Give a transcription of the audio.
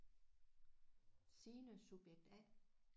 Signe subjekt A